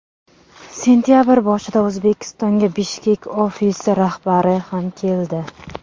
Sentabr boshida O‘zbekistonga Bishkek ofisi rahbari ham keldi.